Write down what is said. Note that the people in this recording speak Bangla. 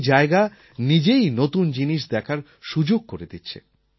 এই জায়গা নিজেই নতুন জিনিস দেখার সুযোগ করে দিচ্ছে